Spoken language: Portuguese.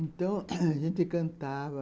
Então, a gente cantava.